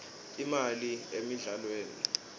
imali emidlalweni